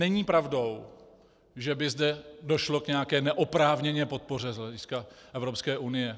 Není pravdou, že by zde došlo k nějaké neoprávněné podpoře z hlediska Evropské unie.